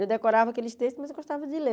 Eu decorava aqueles textos, mas eu gostava de ler.